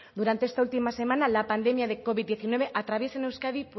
durante esta última semana la pandemia de covid diecinueve atraviesa en euskadi